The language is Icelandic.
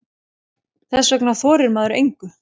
Þess vegna þorir maður engu.